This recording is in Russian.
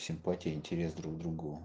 симпатия интерес друг к другу